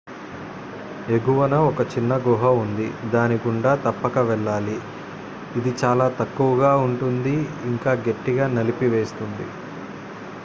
ఎగువన ఒక చిన్న గుహ ఉంది దాని గుండా తప్పక వెళ్ళాలి ఇది చాలా తక్కువగా ఉంటుంది ఇంకా గట్టిగా నలిపివేస్తుంది